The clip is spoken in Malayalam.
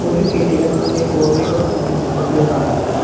ഒരു കെട്ടിടത്തിൻ്റെ കോറിഡോറാണ് ഈ ചിത്രത്തിൽ കാണുന്നത്.